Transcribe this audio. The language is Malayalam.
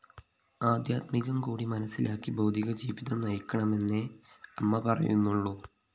ആദ്ധ്യാത്മികം കൂടി മനസ്സിലാക്കി ഭൗതികജീവിതം നയിക്കണമെന്നേ അമ്മ പറയുന്നുള്ളൂ